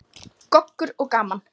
Goggur og gaman.